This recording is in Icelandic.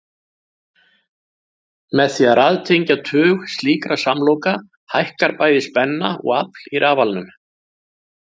Með því að raðtengja tug slíkra samloka hækkar bæði spenna og afl í rafalanum.